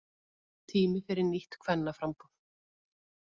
Tími fyrir nýtt kvennaframboð